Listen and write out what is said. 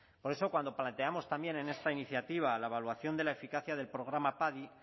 por eso cuando planteamos también en esta iniciativa la evaluación de la eficacia del programa padi